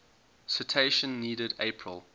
citation needed april